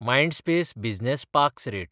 Mindspace business parks rate